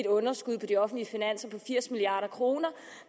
underskud på de offentlige finanser på firs milliard kr